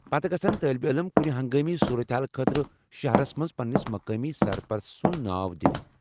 پتہٕ گژھن طالب علم کُنہِ ہنگٲمی صورتحال خٲطرٕ شہرس مَنٛز پننِس مقٲمی سرپرست سُنٛد ناو دِنہِ ۔